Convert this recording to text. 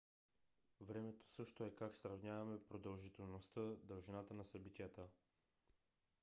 времето също е как сравняваме продължителността дължината на събитията